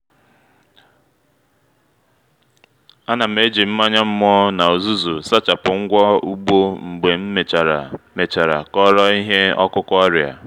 a na m eji mmanya mmọ na uzuzu sachapụ ngwa ugbo mgbe m mechara mechara kọrọ ihe ọkụkụ ọrịa